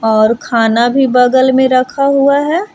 और खाना भी बगल में रखा हुआ है।